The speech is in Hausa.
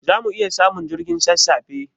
Zamu iya samun jirgin sassafe?